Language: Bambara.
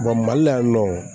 mali la yan nɔ